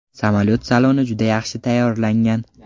Samolyot saloni juda yaxshi tayyorlangan.